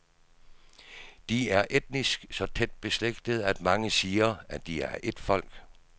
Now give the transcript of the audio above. De er etnisk så tæt beslægtede, at mange siger, at de er et folk.